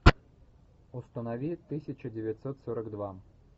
установи тысяча девятьсот сорок два